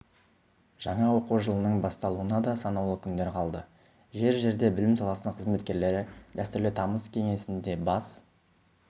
жаңа оқу жылының басталуына да санаулы күндер қалды жер-жерде білім саласының қызметкерлері дәстүрлі тамыз кеңесінде бас